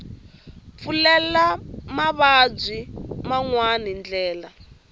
pfulela mavabyi man wana ndlela